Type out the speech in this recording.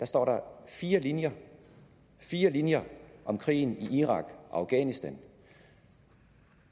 står fire linjer fire linjer om krigen i irak og afghanistan